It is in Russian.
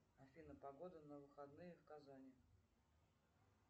афина погода на выходные в казани